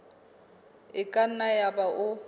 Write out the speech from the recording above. e ka nna yaba o